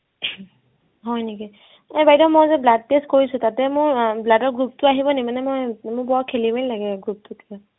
হয় নেকি, এনে বাইদেউ মই যে blood test কৰিছো তাতে মোৰ আহ blood ৰ group টো আহিব নে মানে মই মোৰ বহুত খেলি মেলি লাগে group টো কিবা